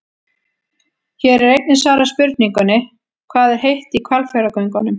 Hér er einnig svarað spurningunni: Hvað er heitt í Hvalfjarðargöngunum?